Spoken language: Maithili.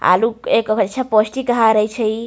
आलू एक हई छै पोष्टिक आहार हई छै इ।